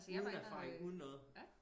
Uden erfaring uden noget